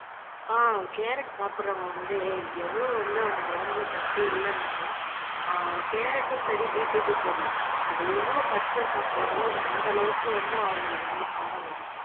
ஆஹ் carrot சாப்பிடறவங்க வந்து எவ்வளவு வந்து அவங்க உடம்புல சத்தே இல்லைன்னாலும் கேரட்டும்ஆஹ் சரி பீட்ரூட்டும் சரி அத எவ்வளவு பச்சையா சாப்பிடுறாங்களோ அது அந்த அளவுக்கு வந்து அவங்களுக்கு வந்து பலனா வரும்.